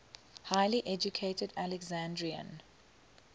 highly educated alexandrian